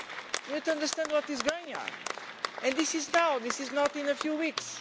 We need to understand what is going on and this is now, this is not in a few weeks.